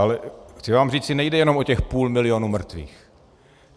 Ale chci vám říci, nejde jenom o těch půl milionu mrtvých.